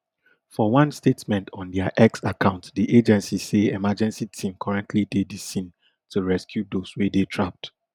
for one statement on dia x account di agency say emergency team currently dey di scene to rescue those wey dey trapped